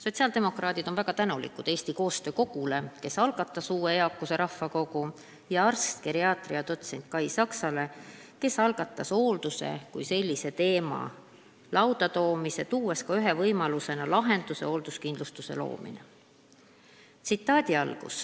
Sotsiaaldemokraadid on väga tänulikud Eesti Koostöö Kogule, kes algatas uue eakuse rahvakogu, ja arstile, geriaatria dotsendile Kai Saksale, kes algatas hoolduse kui sellise lauda toomise, esitades ka ühe võimaliku lahenduse – hoolduskindlustuse loomise.